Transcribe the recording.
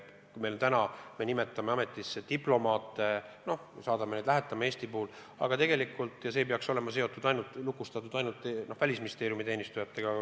Kui me nimetame ametisse diplomaate ja saadame neid Eestit esindama, siis tegelikult ei tohiks see valik olla seotud ainult Välisministeeriumi teenistujatega.